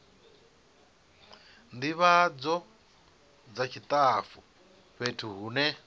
ndivhadzo dza tshitafu fhethu hune